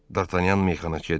Dartanyan meyxanaçıya dedi.